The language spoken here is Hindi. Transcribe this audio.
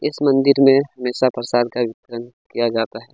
इस मंदिर में हमेशा पार्षद का आयोजन किया जाता है।